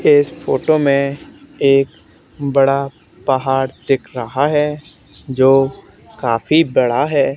इस फोटो में एक बड़ा पहाड़ दिख रहा है जो काफी बड़ा है।